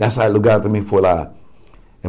Nesse lugar também foi lá.